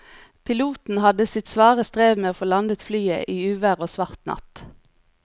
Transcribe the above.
Piloten hadde sitt svare strev med å få landet flyet i uvær og svart natt.